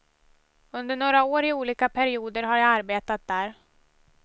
Under några år i olika perioder har jag arbetat där.